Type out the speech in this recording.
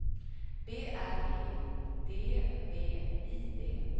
B R E D V I D